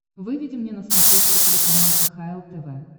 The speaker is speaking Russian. выведи мне на смотрешке телеканал кхл тв